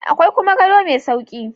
Akwai kuma gado mai sauƙi